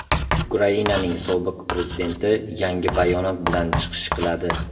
Ukrainaning sobiq prezidenti yangi bayonot bilan chiqish qiladi.